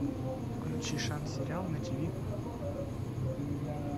включи шант сериал на тиви